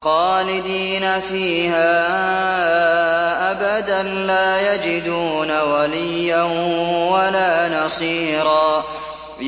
خَالِدِينَ فِيهَا أَبَدًا ۖ لَّا يَجِدُونَ وَلِيًّا وَلَا نَصِيرًا